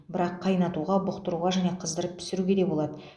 бірақ қайнатуға бұқтыруға және қыздырып пісіруге де болады